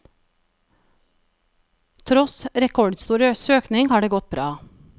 Tross rekordstor søkning har det gått bra.